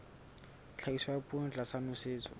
tlhahiso ya poone tlasa nosetso